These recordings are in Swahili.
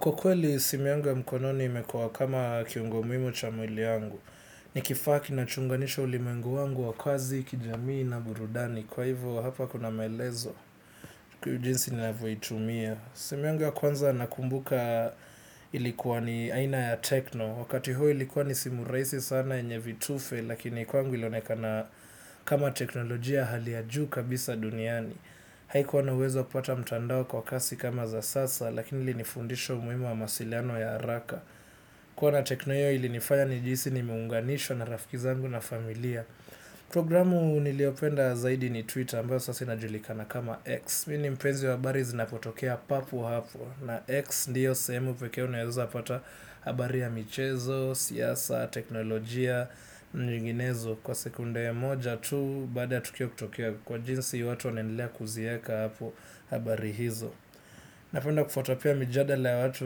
Kwa kweli simu yangu ya mkononi imekuwa kama kiungo muhimu cha mwili wangu, ni kifaa kinachounganisha ulimwengu wangu wa kazi, kijamii na burudani, kwa hivyo hapa kuna maelezo, kiujinsi ninavyoitumia. Simu yangu ya kwanza nakumbuka ilikuwa ni aina ya tekno. Wakati huo ilikuwa ni simu rahisi sana yenye vitufe. Lakini kwangu ilionekana kama teknolojia hali ya juu kabisa duniani. Haikuwa na uwezo wa kupata mtandao kwa kasi kama za sasa. Lakini ni fundisho muhimu wa mawasiliano ya haraka kuwa na tekno hiyo ilinifanya nijihisi ni muunganishwa na rafiki zangu na familia. Programu niliyopenda zaidi ni Twitter ambayo sasa inajulikana kama X. Mimi mpenzi wa habari zinapotokea papo hapo. Na X ndiyo sehemu pekee unaweza pata habari ya michezo, siyasa, teknolojia, nyinginezo kwa sekunde ya moja tu baada ya tukio kutokea kwa jinsi watu wanaendelea kuziweka hapo habari hizo. Napenda kufuata pia mijadala ya watu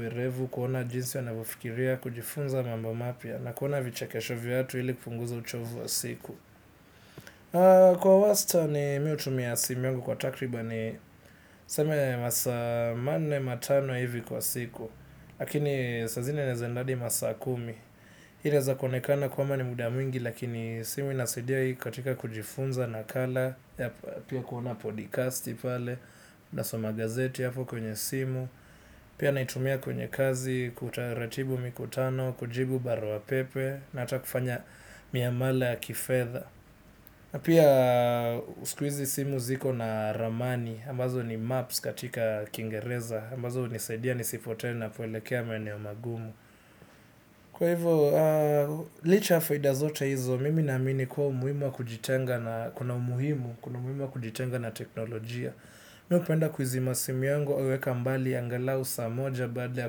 werevu kuona jinsi wanavyofikiria kujifunza mambo mapya na kuona vichekesho vya watu ili kupunguza uchovu wa siku. Kwa wastani mimi hutumia simu yangu kwa takribani niseme masaa manne matano hivi kwa siku. Lakini saa zingine naeza enda adi masaabkumi hii inaeza kuonekana kwamba ni muda mwingi lakini simu inasaidia hii katika kujifunza nakala pia kuona podcasti pale, nasoma gazeti hapo kwenye simu pia naitumia kwenye kazi, kutaratibu mikutano, kujibu barwa pepe na ata kufanya miamala ya kifedha na pia sikuizi simu ziko na ramani, ambazo ni maps katika kingereza, ambazo nisipote ninapoelekea maeneo magumu. Kwa hivyo, licha ya faida zote hizo, mimi naamini kuwa umuhimu wa kujitenga na, kuna umuhimu, kuna umuhimu wa kujitenga na teknolojia. Mimi hupenda kuizima simu yangu, huweka mbali, angalau saa moja baada ya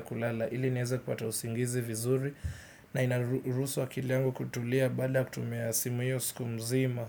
kulala, ili niweze kupata usingizi vizuri, na inarusu akili yangu kutulia baada ya kutumia simu hiyo siku mzima.